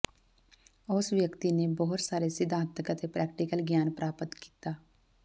ਉਸ ਵਿਅਕਤੀ ਨੇ ਬਹੁਤ ਸਾਰੇ ਸਿਧਾਂਤਕ ਅਤੇ ਪ੍ਰੈਕਟੀਕਲ ਗਿਆਨ ਪ੍ਰਾਪਤ ਕੀਤਾ